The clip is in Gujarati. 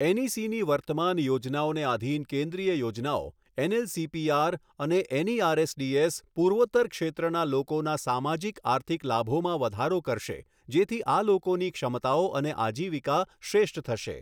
એનઈસીની વર્તમાન યોજનાઓને આધિન યોજનાઓ એનએલસીપીઆર કેન્દ્રીય અને એનઈઆરએસડીએસ પૂર્વોત્તર ક્ષેત્રનાં લોકોનાં સામાજિક આર્થિક લાભોમાં વધારો કરશે, જેથી આ લોકોની ક્ષમતાઓ અને આજીવિકા શ્રેષ્ઠ થશે.